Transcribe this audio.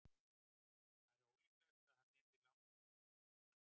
það er ólíklegt að hann yrði langlífur